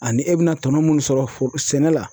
Ani e be na tɔnɔ mun sɔrɔ sɛnɛ la